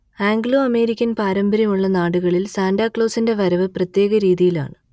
Anglo American പാരമ്പര്യമുള്ള നാടുകളിൽ സാന്റാക്ലോസിന്റെ വരവ് പ്രത്യേകരീതിയിലാണ്